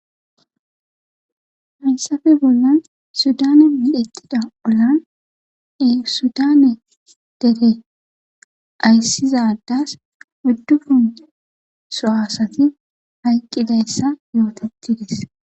Hayssafe bollan sudane miletida olan esudane dere ayssizadas uddupunce so asati hayqqidayssa yootetides.